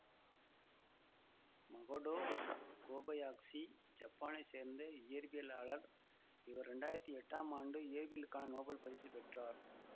Makoto Kobayashi ஜப்பானைச் சேர்ந்த இயற்பியலாளர் இவர் இரண்டாயிரத்தி எட்டாம் ஆண்டு இயற்பியலுக்கான நோபல் பரிசு பெற்றார்